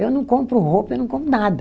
Eu não compro roupa, eu não compro nada.